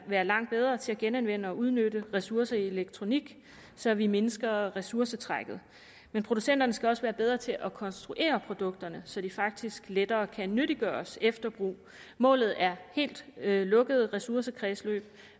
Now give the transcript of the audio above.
være langt bedre til at genanvende og udnytte ressourcer i elektronik så vi mindsker ressourcetrækket men producenterne skal også være bedre til at konstruere produkterne så de faktisk lettere kan nyttiggøres efter brug målet er helt lukkede ressourcekredsløb